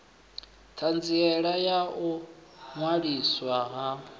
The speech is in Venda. ṱhanziela ya u ṅwaliswa ha